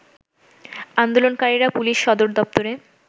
আন্দোলনকারীরা পুলিশ সদরদপ্তরে